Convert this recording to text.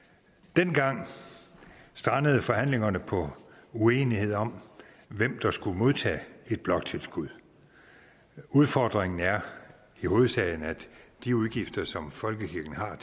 dengang strandede forhandlingerne på uenighed om hvem der skulle modtage et bloktilskud udfordringen er i hovedsagen at de udgifter som folkekirken har